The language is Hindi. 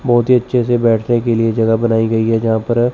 बहोत ही अच्छे से बैठने के लिए जगह बनाई गई है जहां पर--